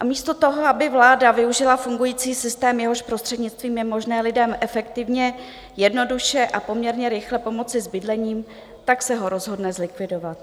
A místo toho, aby vláda využila fungující systém, jehož prostřednictvím je možné lidem efektivně, jednoduše a poměrně rychle pomoci s bydlením, tak se ho rozhodne zlikvidovat.